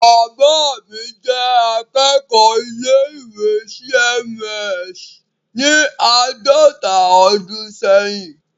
Bàbá mi jẹ́ akẹ́kọ̀ọ́ ilé-ìwé C.M.S. ní àádọta ọdún ṣẹ́yìn.